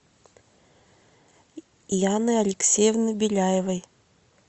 яны алексеевны беляевой